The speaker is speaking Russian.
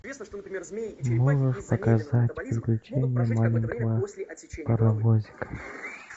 можешь показать приключения маленького паровозика